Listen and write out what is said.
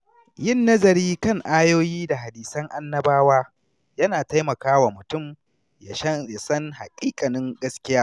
Yin nazari kan ayoyi da hadisan annabawa yana taimaka wa mutum ya san haƙiƙanin gaskiya.